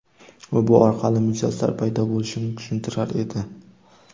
U bu orqali mijozlar paydo bo‘lishini tushuntirar edi.